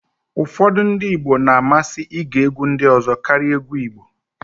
ụfọdụ ndị Igbo na-amasị ige egwu mba ọzọ karịa egwu Igbo